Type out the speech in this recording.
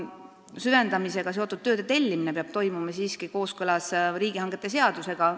Süvendamisega seotud tööde tellimine peab aga toimuma siiski kooskõlas riigihangete seadusega.